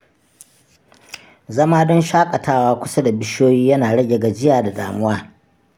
Zama don shaƙatawa a kusa da bishiyoyi yana rage gajiya da damuwa.